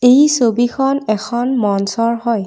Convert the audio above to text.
এই ছবিখন এখন মঞ্চৰ হয়।